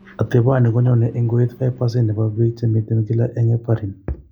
Ateponi ko nyone eng' koit 5% ne po biik che miiten kila ak heparin.